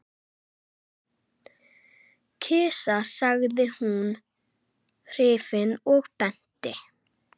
Kisa sagði hún hrifin og benti.